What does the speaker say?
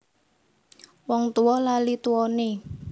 Wong tuwa lali tuwane